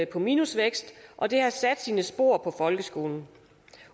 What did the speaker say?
på minusvækst og det har sat sine spor på folkeskolen